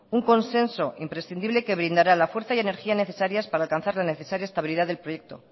un consenso imprescindible que brindará la fuerza y energía necesarias para alcanzar la necesaria estabilidad del proyecto